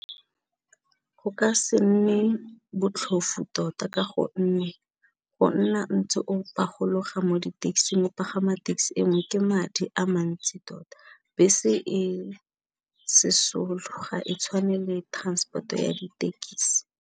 Go ka se nne botlhofu tota ka gonne go nna ntse o pagologa mo di taxing, o pagama taxi engwe ke madi a mantsi tota, bese e sesole ga e tshwane le transport-o ya ditekisi.